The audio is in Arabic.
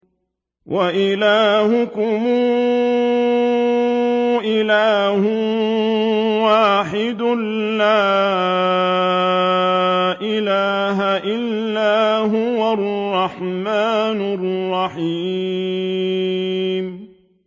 وَإِلَٰهُكُمْ إِلَٰهٌ وَاحِدٌ ۖ لَّا إِلَٰهَ إِلَّا هُوَ الرَّحْمَٰنُ الرَّحِيمُ